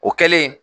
O kɛlen